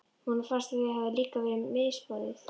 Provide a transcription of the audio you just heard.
Honum fannst að sér hefði líka verið misboðið.